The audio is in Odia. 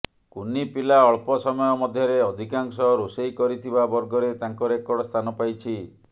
କୁନି ପିଲା ଅଳ୍ପ ସମୟ ମଧ୍ୟରେ ଅଧିକାଂଶ ରୋଷେଇ କରିଥିବା ବର୍ଗରେ ତାଙ୍କ ରେକର୍ଡ ସ୍ଥାନ ପାଇଛି